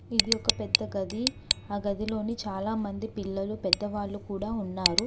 ఇది ఒక పెద్ద గది ఆ గదిలోని చాలామంది పిల్లలు పెద్ద వాళ్ళు కూడా ఉన్నారు.